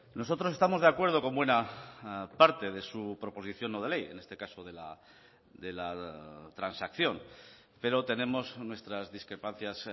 nosotros estamos de acuerdo con buena parte de su proposición no de ley en este caso de la transacción pero tenemos nuestras discrepancias